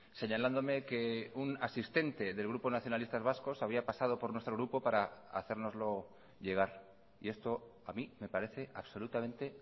señalándome que un asistente del grupo nacionalistas vascos había pasado por nuestro grupo para hacérnoslo llegar y esto a mí me parece absolutamente